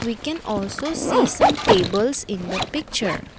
We can also see some tables in the picture.